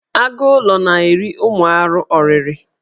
Agụụlọ na-eri ụmụ arụ ọrịrị.